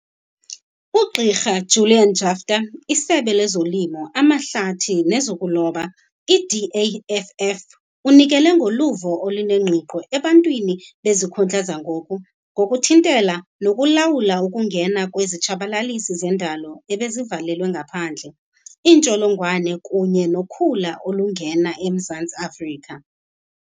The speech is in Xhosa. UGq Julian Jaftha, iSebe lezoLimo, amaHlathi nezokuLoba, iDAFF, unikele ngoluvo olunengqiqo ebantwini bezikhundla zangoku ngokuthintela nokulawula ukungena kwezitshabalalisi zendalo ebezivalelwe ngaphandle, iintsholongwane kunye nokhula olungena eMzantsi Afrika.